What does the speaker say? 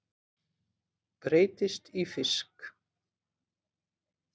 Breytist í fisk.